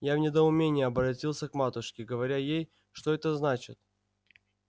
я в недоумении оборотился к матушке говоря ей что это значит